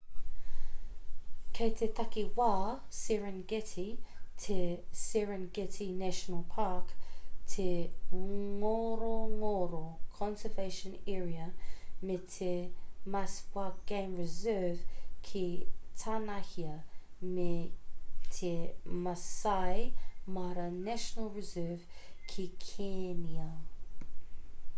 kei te takiwā serengeti te serengeti national park te ngorongoro conservation area me te maswa game reserve ki tānahia me te maasai mara national reserve ki kēnia